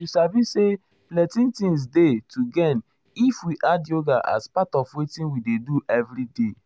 you sabi sabi say plenty things dey to gain if um we add yoga as part of wetin we dey do everyday.